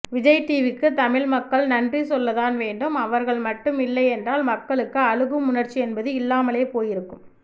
விஜய்டிவிக்கு தமிழ் மக்கள் நன்றி சொல்லதான் வேண்டும் அவர்கள் மட்டும் இல்லையென்றால் மக்களுக்கு அழுகும் உணர்ச்சி என்பது இல்லாமலே போயிருக்கும்